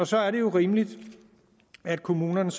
så er det jo rimeligt at kommunerne